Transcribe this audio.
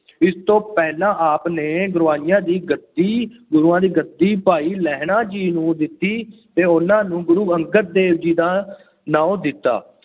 ਇਸ ਤੋਂ ਪਹਿਲਾਂ ਆਪ ਨੇ ਦੀ ਗੱਦੀ, ਗੁਰੂਆਂ ਦੀ ਗੱਦੀ ਭਾਈ ਲਹਿਣ ਜੀ ਨੂੰ ਦਿੱਤੀ ਅਤੇ ਉਹਨਾ ਨੂੰ ਗੁਰੂ ਅੰਗਦ ਦੇਵ ਜੀ ਦਾ ਨਾਂਉਂ ਦਿੱਤਾ।